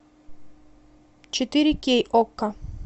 четыре кей окко